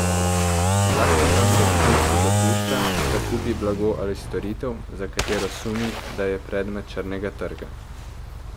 Zakon namreč Fursu dopušča, da kupi blago ali storitev, za katero sumi, da je predmet črnega trga.